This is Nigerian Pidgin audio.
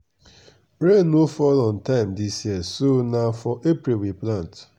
rain no fall on time dis year so na for april we plant.